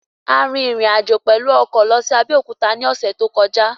A rin rìn àjò pẹ̀lú lọ sí Abẹ́òkúta ní ọ̀sẹ̀ tó kọjá